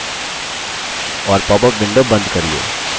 और popup window बंद करिये